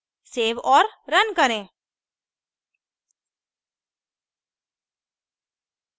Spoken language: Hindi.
सेव और run करें